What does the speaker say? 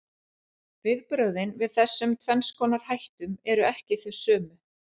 Viðbrögðin við þessum tvenns konar hættum eru ekki þau sömu.